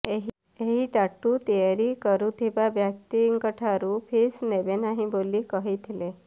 ଏହି ଟାଟୁ ତିଆରି କରୁଥିବା ବ୍ୟକ୍ତିଙ୍କଠାରୁ ଫିସ୍ ନେବେ ନାହିଁ ବୋଲି କହିଥିଲେ